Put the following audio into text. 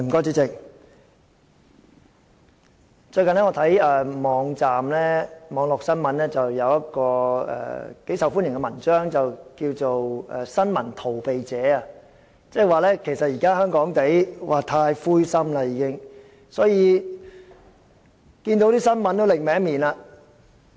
主席，我最近觀看網絡新聞，有一篇頗受歡迎的文章，文章的標題是"新聞逃避者"，內容是說現時香港人太灰心，所以看到新聞也會別過面。